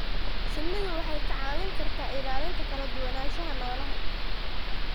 Shinnidu waxay kaa caawin kartaa ilaalinta kala duwanaanshaha noolaha.